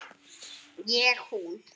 Ég hún.